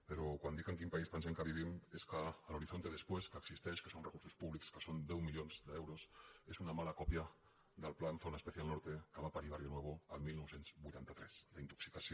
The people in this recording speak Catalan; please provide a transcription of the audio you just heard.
però quan dic en quin país pensem que vivim és que l’horizonte después que existeix que són recursos públics que són deu milions d’euros és una mala còpia del plan zona especial norte que va parir barrionuevo el dinou vuitanta tres d’intoxicació